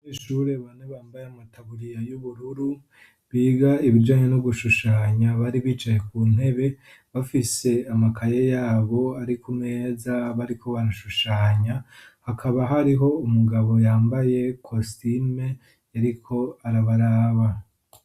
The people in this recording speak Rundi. Kw'ishure bane bambaye amataburiya y'ubururu biga ibijanye no gushushanya bari bicaye kuntebe bafise amakaye yabo Ari kumeza bariko barashushanya, hakaba hariho umugabo yambaye kositime ariko arabaraba.